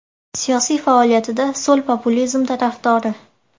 Siyosiy faoliyatida so‘l populizm tarafdori.